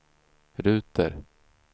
ruter